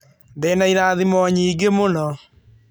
Ndĩ na irathimo nyingĩ mũno.